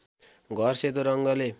घर सेतो रङ्गले